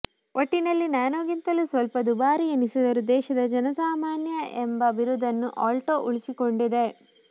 ಒಟ್ಟಿನಲ್ಲಿ ನ್ಯಾನೋಗಿಂತಲೂ ಸ್ವಲ್ಪ ದುಬಾರಿಯೆನಿಸಿದರೂ ದೇಶದ ಜನಸಾಮಾನ್ಯ ಎಂಬ ಬಿರುದನ್ನು ಆಲ್ಟೊ ಉಳಿಸಿಕೊಂಡಿದೆ